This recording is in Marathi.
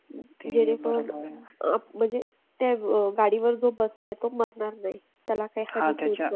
ज्यानेपण अह म्हणजे त्या गाडीवर जो बसलाय तो मरणार नाही. त्याला काही hurt